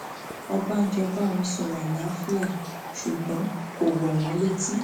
ọbànjọ bá wọn sọrọ àlàáfíà ṣùgbọn kò wọn wọn létí